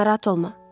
Narahat olma.